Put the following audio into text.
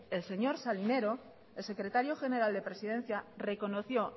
el señor salinero el secretario general de presidencia reconoció